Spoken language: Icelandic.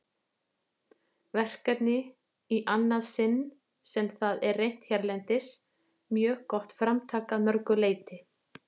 verkefni, í annað sinn sem það er reynt hérlendis, mjög gott framtak að mörgu leyti.